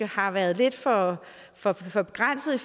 har været lidt for for begrænset i